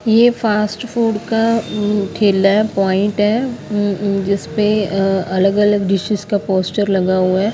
ये fast food का उम ठेला है पॉइंट है उम-उम जिस पे अह अलग अलग डिशेस का पोस्टर लगा हुआ है।